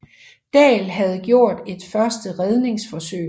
Dahl havde gjort et første redningsforsøg